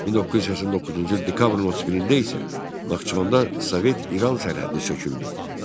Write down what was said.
1989-cu il dekabrın 31-də isə Naxçıvanda Sovet-İran sərhədi söküldü.